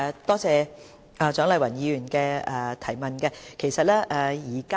多謝蔣麗芸議員的質詢。